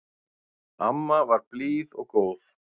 Amma var blíð og góð.